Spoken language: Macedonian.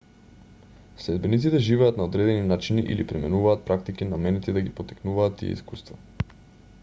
следбениците живеат на одредени начини или применуваат практики наменети да ги поттикнуваат тие искуства